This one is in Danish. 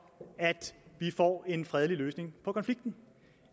at vi får en fredelig løsning på konflikten